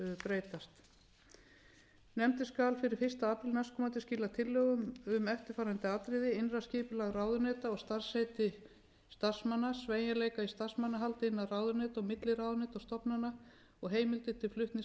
nefndin skal fyrir fyrsta apríl næstkomandi skila tillögum um eftirfarandi atriði innra skipulag ráðuneyta og starfsheiti starfsmanna sveigjanleika í starfsmannahaldi innan ráðuneyta og milli ráðuneyta og stofnana og heimildir til flutnings